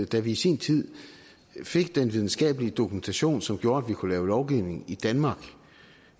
da vi i sin tid fik den videnskabelige dokumentation som gjorde at vi kunne lave lovgivning i danmark